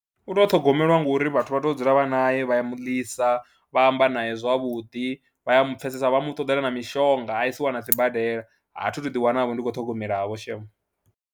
U tou ṱhogomelwa ngori vhathu vha tou dzula vha nae, vha ya mu ḽisa, vha amba naye zwavhuḓi, vha ya mu pfhesesa, vha mu ṱoḓela na mishonga a isiwa na sibadela, a thi thu ḓiwanavho ndi khou ṱhogomelavho shame.